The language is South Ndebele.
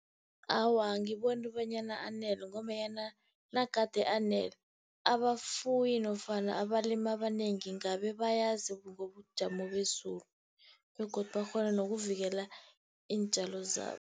Awa, angiboni bonyana anele ngombanyana nagade anele, abafuyi nofana abalimi abanengi ngabe bayazi ngobujamo bezulu. Begodu bakghone nokuvikela iintjalo zabo.